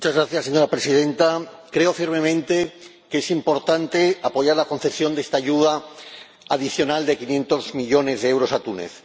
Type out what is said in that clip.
Señora Presidenta, creo firmemente que es importante apoyar la concesión de esta ayuda adicional de quinientos millones de euros a Túnez.